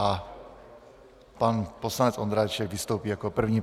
A pan poslanec Ondráček vystoupí jako první.